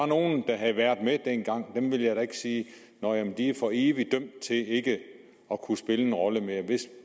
nogen der havde været med dengang at sige at de for evigt var dømt til ikke at kunne spille en rolle mere